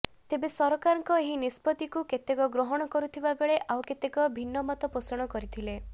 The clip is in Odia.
ତେବେ ସରକାରଙ୍କ ଏହି ନିଷ୍ପତ୍ତିକୁ କେତେକ ଗ୍ରହଣ କରୁଥିବା ବେଳେ ଆଉ କେତେକ ଭିନ୍ନ ମତ ପୋଷଣ କରିଥିଲେ